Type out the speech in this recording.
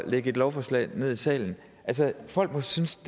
lægge et lovforslag ned i salen altså folk må synes